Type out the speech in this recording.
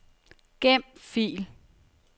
Gem fil.